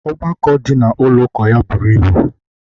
ọgbakọ dị na ụlọ ụka ya buru ibu